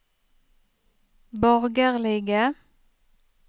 borgerlige